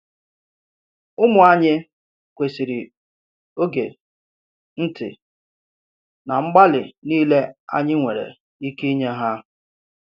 Ụmụ anyị kwesịrị oge, ntị, na mgbalị niile anyị nwere ike inye ha.